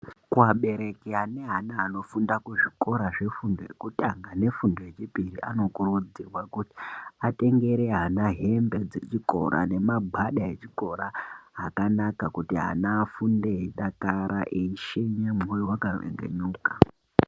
Kuabereki ane ana anofunda kuzvikora zvefundo yekutanga nefundo yechipiri anokuridzirwa kuti atengere ana hembe dzekuchikora nemagwada echikora akanaka kuti ana afunde eidakara eishenya mwoyo wakanyevenuka.